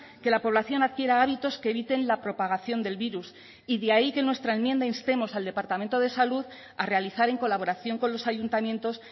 que la población adquiera hábitos que eviten la propagación del virus y de ahí que en nuestra enmienda instemos al departamento de salud a realizar en colaboración con los ayuntamientos